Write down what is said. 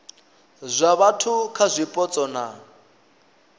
zwa vhathu kha zwipotso na